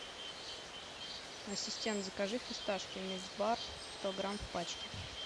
ассистент закажи фисташки микс бар сто грамм в пачке